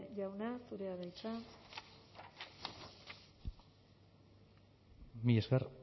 jauna zurea da hitza mila esker